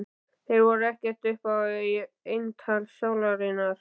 Þeir voru ekkert upp á eintal sálarinnar.